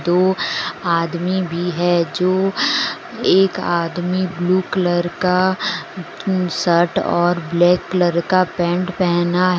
दो आदमी भी है जो एक आदमी ब्लू कलर का शर्ट और ब्लैक कलर का पैंट पहना है।